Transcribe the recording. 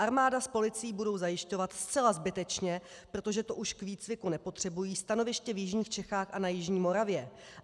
Armáda s policií budou zajišťovat zcela zbytečně, protože to už k výcviku nepotřebují, stanoviště v jižních Čechách a na jižní Moravě.